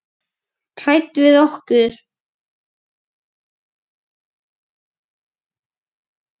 Hræddur við okkur?